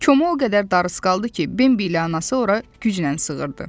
Koma o qədər darısqal idi ki, Bimbi ilə anası ora güclə sığırdı.